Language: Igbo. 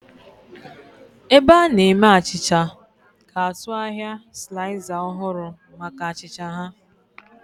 Ebe a na-eme achịcha ga-atụ ahịa sliza ọhụrụ maka achịcha ha.